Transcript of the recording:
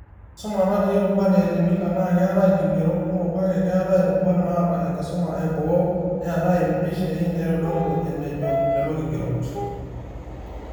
Enkisuma nati rubat e Elimika, naa keeta irkigerot kumok kake keeta rubat naata enkisuma eboo, neeta mpishai naaitodolu enejo lelo kigerot